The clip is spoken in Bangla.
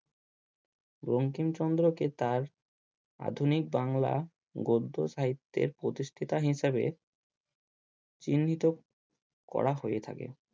বঙ্কিমচন্দ্রকে তার আধুনিক বাংলা গদ্য সাহিত্যের প্রতিষ্ঠাতা হিসাবে চিহ্নিত করা হয়ে থাকে।